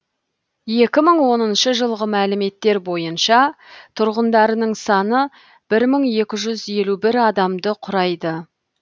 екі мың оныншы жылғы мәліметтер бойынша тұрғындарының саны бір мың екі жүз елу бір адамды құрайды